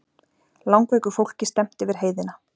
Langveiku fólki stefnt yfir heiðina